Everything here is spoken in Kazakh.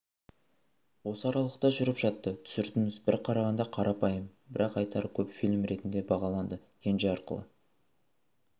осы аралықта жүріп жатты түсірдіңіз бір қарағанда қарапайым бірақ айтары көп фильм ретінде бағаланды кенже арқылы